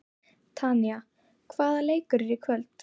Tanya, hvaða leikir eru í kvöld?